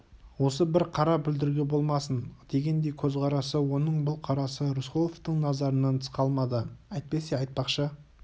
осы бір қара бүлдіргі болмасын дегендей көзқарасы оның бұл қарасы рысқұловтың назарынан тыс қалмады әйтпесе айтпақшы